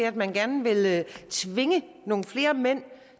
at man gerne vil tvinge nogle flere mænd